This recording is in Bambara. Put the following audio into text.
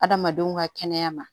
Adamadenw ka kɛnɛya ma